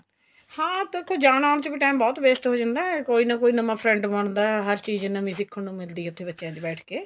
ਹਾਂ ਉੱਥੇ ਜਾਣ ਆਣ ਚ time ਬਹੁਤ waste ਹੋ ਜਾਂਦਾ ਕੋਈ ਨਾ ਕੋਈ ਨਵਾ friend ਬਣਦਾ ਹਰ ਚੀਜ਼ ਨਵੀ ਸਿੱਖਣ ਨੂੰ ਮਿਲਦੀ ਏ ਉੱਥੇ ਬੱਚਿਆਂ ਚ ਬੈਠ ਕੇ